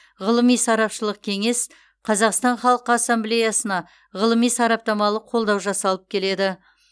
ғылыми сарапшылық кеңес қазақстан халқы ассамблеясына ғылыми сараптамалық қолдау жасап келеді